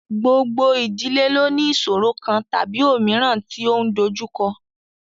Gbogbo ìdílé lo ní ìsọ̀ro kan tàbí òmíràn tí ó ń dojúkọ.